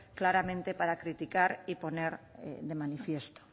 claramente para criticar y poner de manifiesto